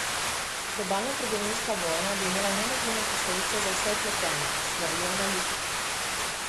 Globalna trgovinska vojna bi imela negativne posledice za vse vpletene, svarijo analitiki.